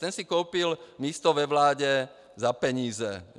Ten si koupil místo ve vládě za peníze.